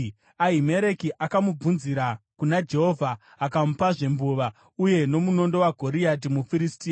Ahimereki akamubvunzira kuna Jehovha; akamupazve mbuva uye nomunondo waGoriati muFiristia.”